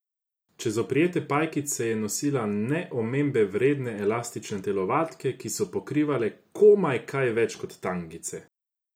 Čez oprijete pajkice je nosila ne omembe vredne elastične telovadke, ki so pokrivale komaj kaj več kot tangice.